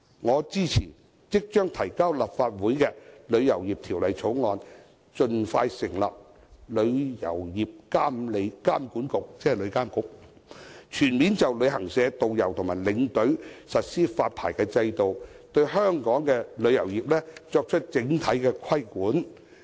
我支持已提交立法會的《旅遊業條例草案》，盡快成立旅遊業監管局，全面就旅行社、導遊和領隊實施發牌制度，對香港旅遊業作出整體規管。